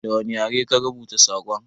Da wani yare ka rubuta sakon?